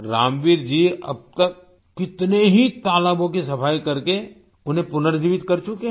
रामवीर जी अब तक कितने ही तालाबों की सफाई करके उन्हें पुनर्जीवित कर चुके हैं